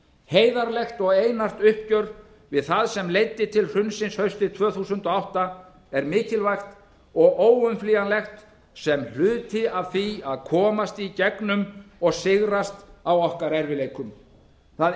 heiðarlegt og einart uppgjör við það sem leiddi til hrunsins haustið tvö þúsund og átta er mikilvægt og óumflýjanlegt sem hluti af því að komast í gegnum og sigrast á okkar erfiðleikum það